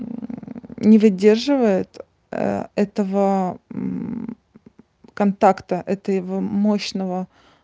не выдерживает этого контакта этого мощного